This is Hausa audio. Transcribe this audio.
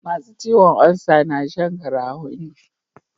Masu ciwon ulsa na Shan garafuni